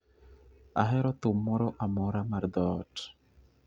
Ahero thum moro amora mar dhoot.